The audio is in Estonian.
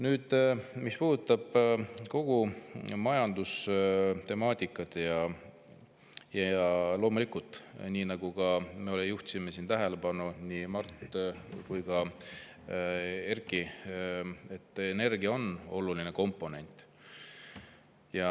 Nüüd, mis puudutab kogu majandustemaatikat, siis loomulikult, nagu siin ka juhiti tähelepanu – nii Mart kui ka Erkki –, on energia oluline komponent.